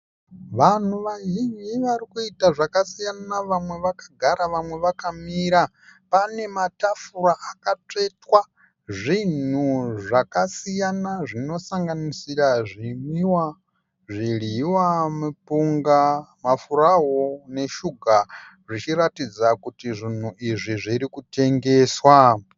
Vanhu vazhinji varikuita zvakasiyana vamwe vakagara vamwe vakamira pane matafura akatsvetwa zvinhu zvakasiyana zvinosanganisira zvinwiwa zvidyiwa mupunga mafurawu neshuga zvichiratidza kuti zvinhu izvi zviri kutengeserwa